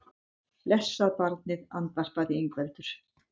Blessað barnið, andvarpaði Ingveldur.